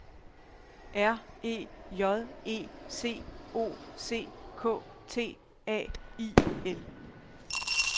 R E J E C O C K T A I L